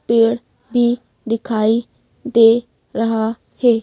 पेड़ भी दिखाई दे रहा है।